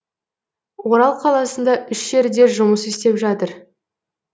орал қаласында үш жерде жұмыс істеп жатыр